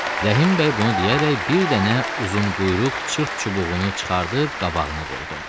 Rəhim bəy bunu deyərək bir dənə uzun quyruq çırt çubuğunu çıxarıb qabağına qoydu.